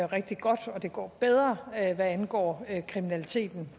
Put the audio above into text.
rigtig godt og det går bedre hvad angår kriminaliteten